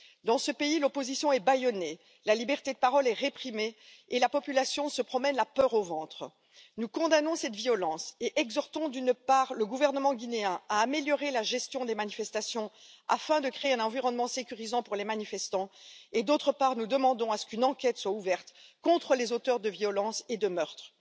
Dans ce pays, l'opposition est bâillonnée, la liberté de parole est réprimée et la population a la peur au ventre. Nous condamnons cette violence et exhortons, d'une part, le gouvernement guinéen à améliorer la gestion des manifestations afin de créer un environnement sécurisant pour les manifestants et, d'autre part, nous demandons à ce qu'une enquête soit ouverte à l'encontre des auteurs de violences et de meurtres.